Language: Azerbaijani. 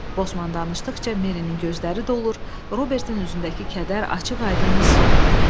Bosman danışdıqca Merinin gözləri dolur, Robertin özündəki kədər açıq-aydın hiss olunurdu.